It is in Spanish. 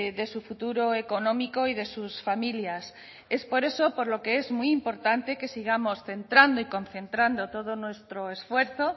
de su futuro económico y de sus familias es por eso por lo que es muy importante que sigamos centrando y concentrando todo nuestro esfuerzo